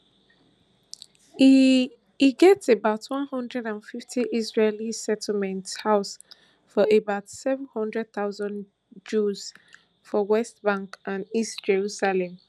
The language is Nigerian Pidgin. e e get about one hundred and fifty israeli settlements house to about seven hundred thousand jews for west bank and east jerusalem